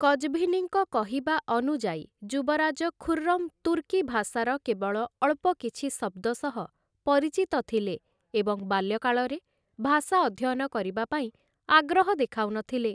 କଜ୍‌ଭିନିଙ୍କ କହିବା ଅନୁଯାୟୀ, ଯୁବରାଜ ଖୁର୍‌ରମ୍‌ ତୁର୍କୀ ଭାଷାର କେବଳ ଅଳ୍ପ କିଛି ଶବ୍ଦ ସହ ପରିଚିତ ଥିଲେ ଏବଂ ବାଲ୍ୟକାଳରେ ଭାଷା ଅଧ୍ୟୟନ କରିବା ପାଇଁ ଆଗ୍ରହ ଦେଖାଉନଥିଲେ ।